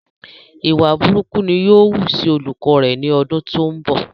ìwà burúkú ni yóò wú sí olùkọ rẹ ni ọdún tó ń bọ̀